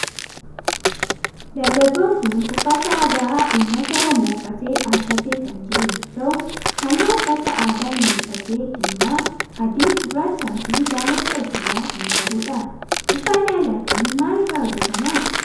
Dargaggoon kun uffata aadaa ummata oromoo uffatee dhaabbatee kan jiru yoo ta'u halluu uffata aadaa inni uffatee diimaa, adii, gurraachaa fi daalacha of irraa kan qabudha. Uffanni aadaa kun maal irraa hojjetama?